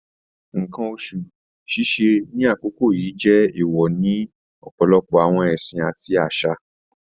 Nǹkan oṣù ṣíṣe di àkókò yìí jẹ́ èèwọ̀ ní ọ̀pọ̀lọpọ̀ àwọn ẹ̀sìn àti àṣà